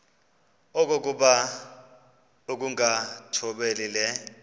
okokuba ukungathobeli le